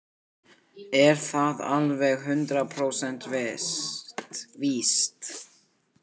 Er það alveg hundrað prósent víst?